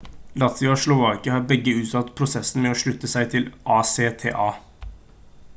latvia og slovakia har begge utsatt prosessen med å slutte seg til acta